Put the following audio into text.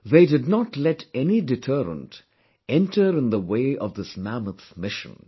They did not let any deterrent enter in the way of this mammoth mission